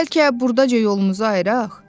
Bəlkə burdaca yolumuzu ayıraq?